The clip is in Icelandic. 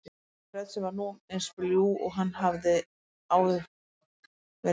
sagði hann með rödd sem var nú eins bljúg og hún hafði áður verið ógnandi.